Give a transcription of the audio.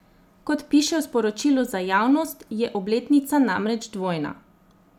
Kot piše v sporočilu za javnost, je obletnica namreč dvojna.